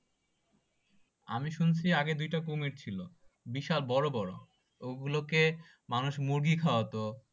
আমি শুনছি আগে দুইটা কুমির ছিল বিশাল বড়ো বড়ো ওগুলোকে মানুষ মুরগি খাওয়াতো